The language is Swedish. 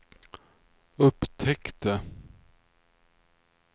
upptäckte